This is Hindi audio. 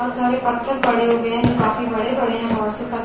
बहोत सारे पत्थर पड़े हुए है जो काफी बड़े-बड़े है बहोत से पत्--